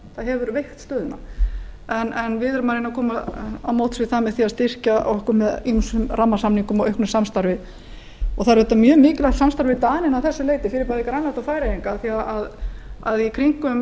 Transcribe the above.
það hefur veikt stöðuna við erum að reyna að koma til móts við það með því að styrkja okkur með ýmsum rammasamningum og auknu samstarfi það er auðvitað mjög mikilvægt samstarf við dani að þessu leyti fyrir bæði grænland og færeyinga af því að í kringum